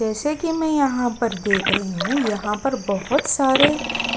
जैसे कि मैं यहाँ पर देख रही हूँ यहाँ पर बहुत सारे